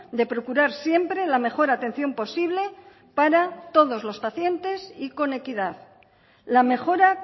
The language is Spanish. de procurar siempre la mejor atención posible para todos los pacientes y con equidad la mejora